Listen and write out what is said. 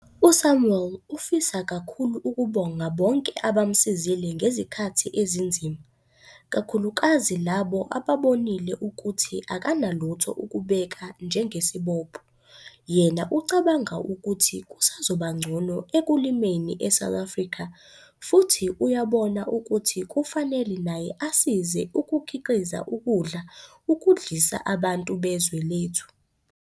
USamuel ufisa kakhulu ukubonga bonke abamsizile ngezikhathi ezinzima, kakhulukazi labo ababonile ukuthi akanalutho ukubeka njengesibopho. Yena ucabanga ukuthi kusazobangcono ekulimeni eSouth Afrika futhi uyabona ukuthi kufanele naye asize ukukhiqiza ukudla ukudlisa abantu bezwe lethu